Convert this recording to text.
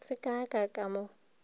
se ka ka ka mo